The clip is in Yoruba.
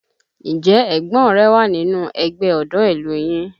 Ǹjẹ́ ẹ̀gbọ́n rẹ wà nínú ẹgbẹ́ ọ̀dọ́ ìlú yín?